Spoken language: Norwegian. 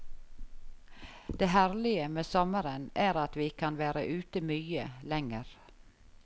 Det herlige med sommeren er at vi kan være ute mye lenger.